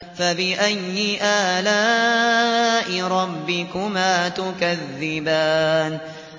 فَبِأَيِّ آلَاءِ رَبِّكُمَا تُكَذِّبَانِ